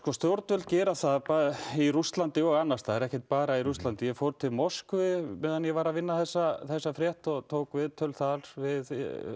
stjórnvöld gera það bæði í Rússlandi og annarstaðar ekkert bara í Rússlandi ég fór til Moskvu meðan ég var að vinna þessa þessa frétt og tók viðtöl þar við